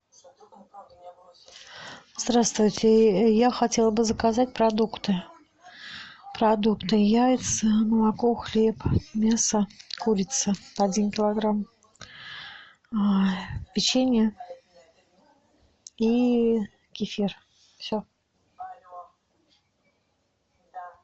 здравствуйте я хотела бы заказать продукты продукты яйца молоко хлеб мясо курица один килограмм печенье и кефир все